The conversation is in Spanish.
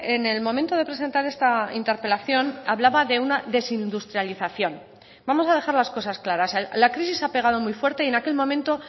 en el momento de presentar esta interpelación hablaba de una desindustrialización vamos a dejar las cosas claras la crisis ha pegado muy fuerte y en aquel momento